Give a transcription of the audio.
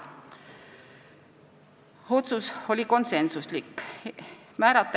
See otsus oli konsensuslik.